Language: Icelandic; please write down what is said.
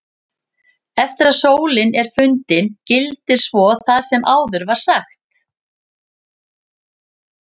Eftir að sólin er fundin gildir svo það sem áður var sagt.